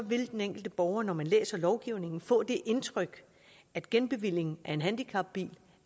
vil den enkelte borger når man læser lovgivningen få det indtryk at genbevilling af en handicapbil